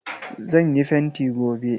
Zan yi fenti gobe.